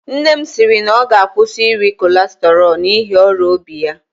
Nne m sịrị na ọ ga-akwụsị iri kọlesterọl n'ihi ọrịa obi ya